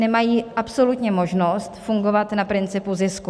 Nemají absolutně možnost fungovat na principu zisku.